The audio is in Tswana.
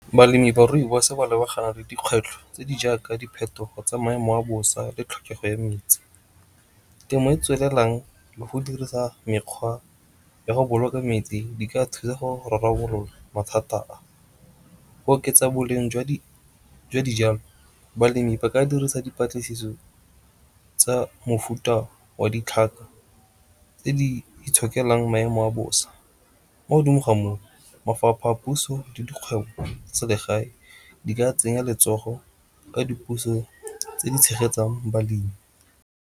Balemi ba rooibos ba lebagane le dikgwetlho tse di jaaka diphetogo tse maemo a bosa le tlhokego ya metsi. Temo e e tswelelang le go dirisa mekgwa ya go boloka metsi di ka thusa go rarabolola mathata a. Go oketsa boleng jwa dijalo, balemi ba ka dirisa dipatlisiso tsa mofuta wa ditlhaka tse di itshokelang maemo a bosa. Mo godimo ga moo, mafapha a puso le dikgwebo tsa selegae di ka tsenya letsogo ka di puso tse di tshegetsang balemi.